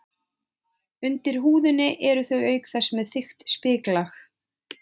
Undir húðinni eru þau auk þess með þykkt spiklag.